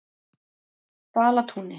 Dalatúni